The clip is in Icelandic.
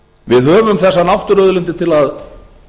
við höfum þessar náttúruauðlindir til að